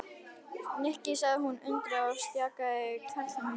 Nikki sagði hún undrandi og stjakaði karlinum í burtu.